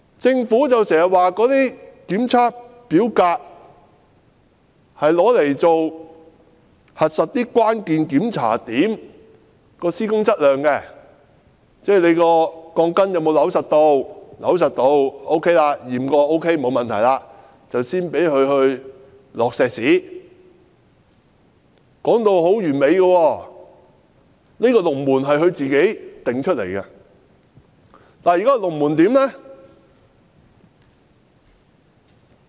政府經常說，這些檢測表格是用來核實關鍵檢查點的施工質量，即鋼筋有否扭緊，檢查過有扭緊並且沒有問題後，才可以灌注混凝土，說得很完美，這個龍門是它自己定下的。